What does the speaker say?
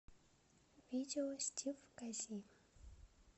видео стив кази